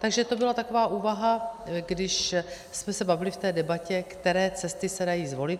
Takže to byla taková úvaha, když jsme se bavili v té debatě, které cesty se dají zvolit.